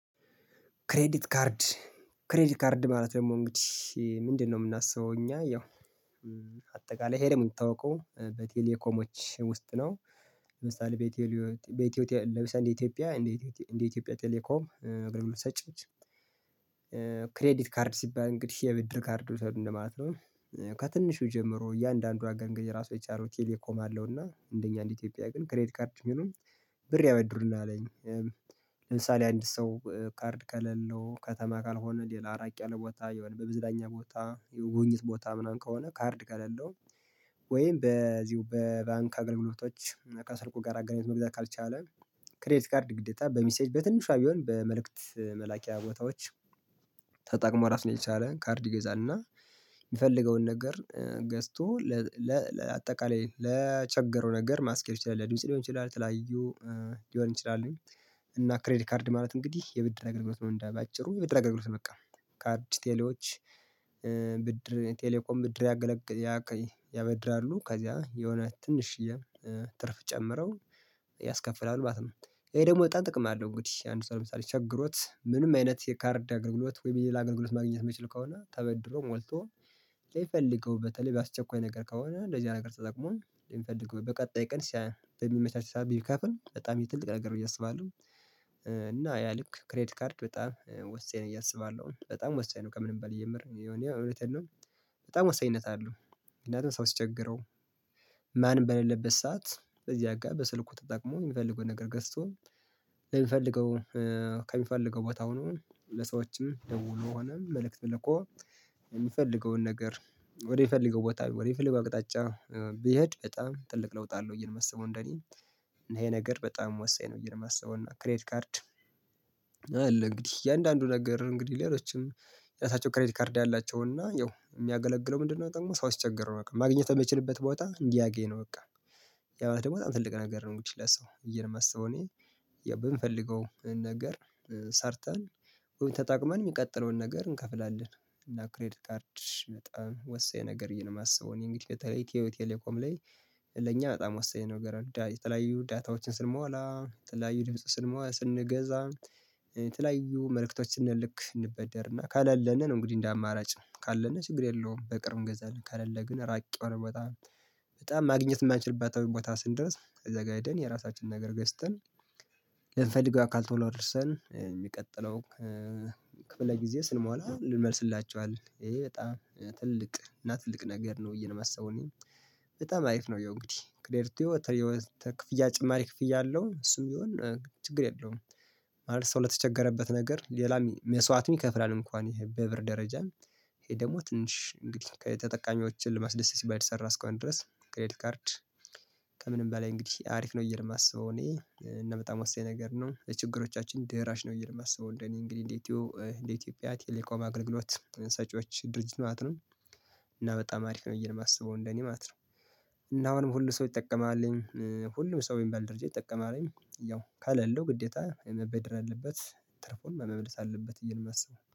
ክሬዲት ካርድ ክሬዲት ካርድ ማለት ደግሞ እንግዲህ ምንድነው የምናስበው እኛ ያው አጠቃላኝ ሄደህ የምታውቀው በቴሌኮሞች ውስጥ ነው። ለምሳሌ እንደ ኢትዮጵያ ቴሌኮም አገልግሎት ሰጪ ክሬዲት ካርድ ሲባል እንግዲህ የብድር ካርድ መውሰድ እንደ ማለት ነው ከትንሹ ጀምሮ እያንዳንዱ አንግል የራሱ የቻለው ቴሌኮም አለው እና እንደኛ እንደ ኢትዮጵያ ግን ክሬዲት ካርድ ሲሉን ብር ያበድሩናል። ለምሳሌ አንድ ሰው ካርድ ከሌለው ከተማ ካልሆነ ሌላ እራቅ ያለ ቦታ ከሆነ የመዝናኛ ቦታ የጉብኝት ቦታ ምናምን ከሆነ ካርድ ከሌለው ወይም በዚሁ በባንክ አገልግሎቶች ከስልኩ ጋር አገልግሎት መግዛት ካልቻለ ክሬት ካርድ ግዴታ በሚሴጅ በትንሿ ቢሆን በመልእክት መላኪያ ቦታዎች ተጠቅሞ ራስ ነው የቻለ ካርድ ይገዛል እና የሚፈልገውን ነገር ገዝቶ ለአጠቃላይ ለቸገረው ነገር ማስኬድ ሊሆን ይችላል የተለያዩ ሊሆን ይችላል። እና ክሬዲ ካርድ ማለት እንግዲህ የብድር አገልግሎት መሆን እንዳይጭበረበሩ የበድር አገልግሎት ነው። በቃ ካርድ ቴሌዎች ብድር ቴሌኮም ብድር ያበድራሉ ከዛ የእውነት ትንሽዬ ትርፍ ጨምረው ያስከፍላሉ ማለት ነው። ይሄ ደግሞ በጣም ጥቅም አለው እንግዲህ አንድ ሰው ለምሳሌ ቸግሮት ምንም አይነት የካርድ አገልግሎት ወይም የሌላ አገልግሎት ማግኘት የማይችል ከሆነ ተበድሮ ሞልቶ ለሚፈልገው በተለይ በአስቸኳይ ነገር ከሆነ እንደዚህ አይነት ነገር ስትጠቅመው ሊፈልገው በቀጣይ ቀን ሲያይ በሚመቻች ሰዓት ቢከፍል በጣም የትልቅ ነገር ብዬ አስባለሁ። እና ያ ልክ ክሬት ካርድ በጣም ወሳኝ ነው በየ አሰባለሁ በጣም ወሳኝ ነው ከምንም ባላይ የምር የሆነ እውነት ነው። በጣም ወሳኝነት አለው። ምክንያቱም ሰው ሲቸገረው ማንም በሌለበት ሰዓት በዚህ ጋር በስልኩ ተጠቅሞ የሚፈልገውን ነገር ገዝቶ ለሚፈልገው ከሚፈልገው ቦታ ሆኖ ለሰዎችም ደውሎ ሆኖም መልእክት ልኮ የሚፈልገውን ነገር ወደፈለገው ቦታ ወደፈለገው አቅጣጫ ቢሄድ በጣም ትልቅ ለውጥ አለው እያልን የማስበው እንደኔ ይሄ ነገር በጣም ወሳኝ ነው። ብዬ ነው የማስበው እና ክሬት ካርድ አለ እንግዲህ እያንዳንዱ ነገር እንግዲህ ሌሎችም ራሳቸው ክሬዲት ካርድ ያላቸው እና ያው የሚያገለግለው ምንድነው ደግሞ ሰው ሲቸገር ማግኘት የሚችልበት ቦታ እንዲያገኝ ነው። በቃ ያው ደግሞ በጣም ትልቅ ነገር ነው። እንግዲህ ለሰው በየ ነወ የማሰበው እኔ የምፈልገው ነገር ሰርተን ወይ ተጠቅመን የሚቀጥለውን ነገር እንከፍላለን እና ክሬድ ካርድ በጣም ወሳኝ ነገር ነው። በዬ ነው የማስበው እኔ እንግዲህ በተለይ ኢትዮቴሌኮም ላይ ለእኛ በጣም ወሳኝ ነገር ነው። የተለያዩ ዳታዎችን ስንሞላ የተለያዩ ድምጽ ስንሞላ ስንገዛ የተለያዩ መልእክቶች ስንልክ እንበደርና ካላለን ነው እንግዲህ እንደ አማራጭ ካለን ችግር የለውም። በቅርብ ገዛልን ካለለ ግን ራቅ የሆነ በጣም በጣም ማግኘት የማንችልበት ቦታ ስንደርስ ዘጋይደን የራሳችንን ነገር ገዝተን ለምንፈልገው አካል ቶሎ አድርሰን የሚቀጥለው ክፍለ ጊዜ ስንሞላ እንመልስላቸዋለን አለ ይሄ በጣም ትልቅ እና ትልቅ ነገር ነው ብዬ ነው የማስበው እና በጣም አሪፍ ነው። ያው አንግዲህ ክ ጭማሪ ክፍያ አለው እሱም ቢሆን ችግር የለውም። ማለት ሰው ለተቸገረበት ነገር ሌላ መስዋዕት ይከፍላል እንኳን ይሄ በብር ደረጃ ይሄ ደግሞ ትንሽ እንግዲህ ከተጠቃሚዎችን ለማስደሰት ሲባል የተሰራ አስከ አሁን ድረስ ከምንም በላይ እንግዲህ አሪፍ ነው ብዬ ነው የማስበው። እኔ እና በጣም ወሳኝ ነገር ነው የችግሮቻችን ደራሽ ነው ብዬ ነው የማስበው። እንደኔ እንደ ኢትዮቴሌኮም አገልግሎት ሰጪዎች ድርጅት ማለት ነው ነው እኔ በጣም አሪፍ ነው ብዬ ነው የማስበው እንደኔ ማለት ነው። እና አሁንም ሁሉ ሰው በሚባል ይጠቀማል በሚባል ደረጃ ይጠቀማልኝ ያው ከሌለው ግዴታ መበደር አለበት ትርፉን መመልስ አለበት ብዬ ነው የማስበው